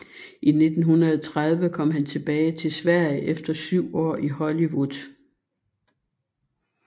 I 1930 kom han tilbage til Sverige efter syv år i Hollywood